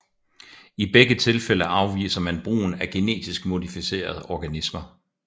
I begge tilfælde afviser man brugen af genetisk modificerede organismer